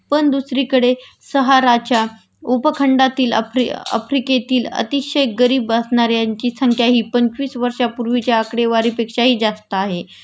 पण दुसरीकडे सहाराच्या उपखंडातील आफ्री आफ्रिकेतील अतिशय गरीब असणाऱ्यांची संख्या हि पंचवीस वर्षांपूर्वीच्या आकडेवारीपेक्षाही जास्तच आहे